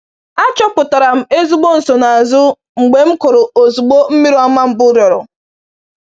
Achọpụtara m ezigbo nsonaazụ mgbe m kụrụ ozugbo mmiri ọma mbụ rịọrọ.